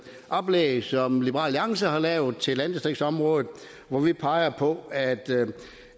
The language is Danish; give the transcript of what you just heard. oplæg som liberal alliance har lavet til landdistriktsområdet og hvor vi peger på at